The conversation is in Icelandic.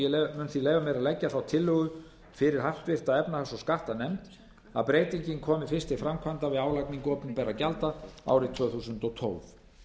því leyfa mér að leggja þá tillögu fyrir háttvirta efnahags og skattanefnd að breytingin komi fyrst til framkvæmda við álagningu opinberra gjalda árið tvö þúsund og tólf